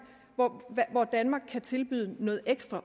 kan tilbyde noget ekstra